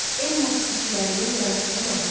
El musiqiçilərinin yaratdığı mahnılar.